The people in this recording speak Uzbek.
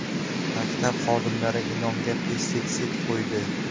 Maktab xodimlari ilonga pestitsid quydi.